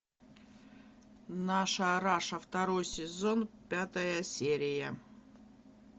наша раша второй сезон пятая серия